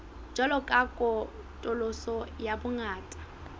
jwalo ka katoloso ya bongata